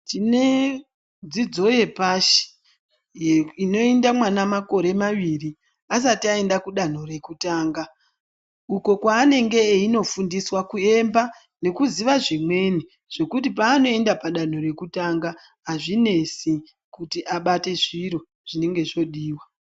Tine dzidzo yepashi ye inoenda mwana makore maviri, asati aenda kudanho rekutanga, uko waanenge einofundiswa kuemba, nokuziva zvimweni, zvokuti paanoenda padanho rekutanga azvinesi ,kuti abate zviro zvinenge zvoodiwa.